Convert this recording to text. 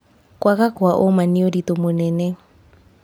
Kwaga kwa ũma nĩ ũritũ mũnene.